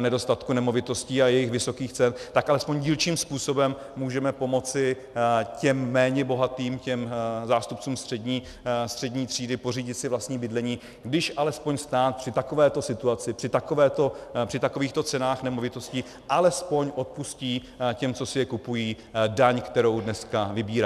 nedostatku nemovitostí a jejich vysokých cen, tak alespoň dílčím způsobem můžeme pomoci těm méně bohatým, těm zástupcům střední třídy, pořídit si vlastní bydlení, když alespoň stát při takovéto situaci, při takovýchto cenách nemovitostí alespoň odpustí těm, co si je kupují, daň, kterou dneska vybírá.